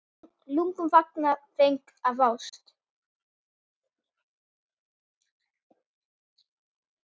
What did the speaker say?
Lungun fanga feng af ást.